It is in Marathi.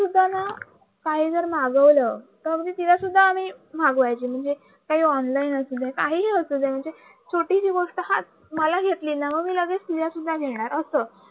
काही जर मागवलं ते तिला सुद्धा आम्ही मागवायचं म्हणजे ऑनलाइन असू दे म्हणजे काहीही असू दे ही छोटीशी गोष्ट मला घेतले ना मग लगच तिला शुदा घेणार